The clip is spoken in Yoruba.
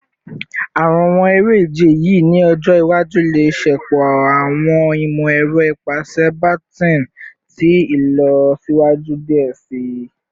Awọn ere-ije yii ni ọjọ iwaju le ṣepọ awọn imọ-ẹrọ ipasẹ baton ti ilọsiwaju diẹ sii